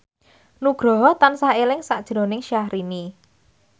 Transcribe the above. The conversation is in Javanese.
Nugroho tansah eling sakjroning Syahrini